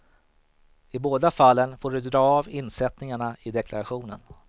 I båda fallen får du dra av insättningarna i deklarationen.